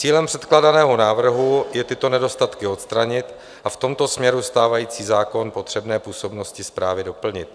Cílem předkládaného návrhu je tyto nedostatky odstranit a v tomto směru stávající zákon potřebné působnosti správy doplnit.